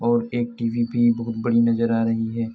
और एक टीवी भी बहुत बड़ी नजर आ रही है।